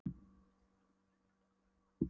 Hann missti jafnvægið og féll kylliflatur.